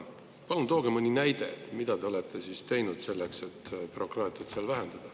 Palun tooge mõni näide, mida te olete teinud selleks, et bürokraatiat vähendada.